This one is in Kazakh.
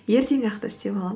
ертең ақ та істеп аламын